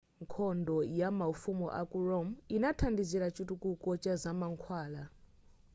nkhondo ya maufumu aku rome inathandizira chitukuko cha zamankhwala